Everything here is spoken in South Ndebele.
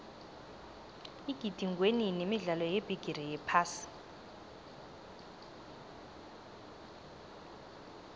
igidingwenini imidlalo yebigiri yephasi